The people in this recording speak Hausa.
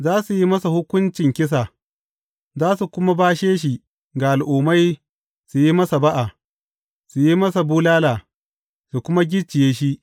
Za su yi masa hukuncin kisa za su kuma bashe shi ga Al’ummai su yi masa ba’a, su yi masa bulala, su kuma gicciye shi.